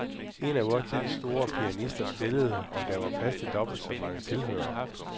En af vor tids store pianister spillede, og der var plads til dobbelt så mange tilhørere.